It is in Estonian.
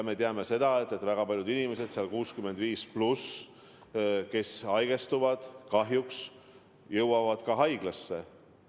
Me teame seda, et väga paljud inimesed 65+, kes haigestuvad, kahjuks jõuavad haiglasse.